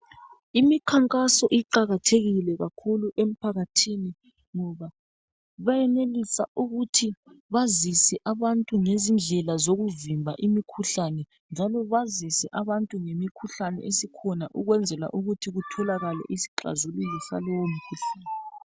Imikhankaso iqakathekile kakhulu emphakathini ngoba bayenelisa ukuthi bazise abantu ngezindlela zokuvimba imikhuhlane njalo bazise abantu ngemikhuhlane esikhona ukwenzela ukuthi kutholakale isixazululo salowo mkhuhlane